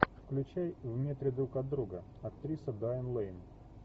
включай в метре друг от друга актриса дайан лейн